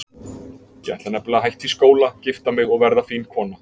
Ég ætla nefnilega að hætta í skóla, gifta mig og verða fín kona